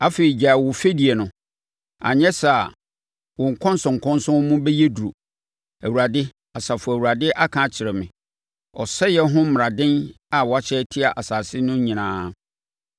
Afei gyae wo fɛdie no, anyɛ saa a, wo nkɔnsɔnkɔnsɔn mu bɛyɛ duru; Awurade, Asafo Awurade aka akyerɛ me ɔsɛeɛ ho mmaraden a wɔahyɛ atia asase no nyinaa.